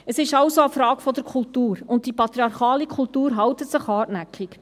Es ist also eine Frage der Kultur, und die patriarchale Kultur hält sich hartnäckig.